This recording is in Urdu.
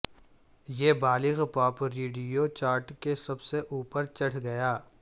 یہ بالغ پاپ ریڈیو چارٹ کے سب سے اوپر چڑھ گیا